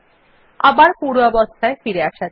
আবার পূর্বাবস্থায় ফিরে আসা যাক